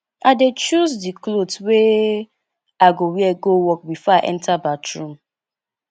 i dey choose di cloth wey i go wear go work before i enta bathroom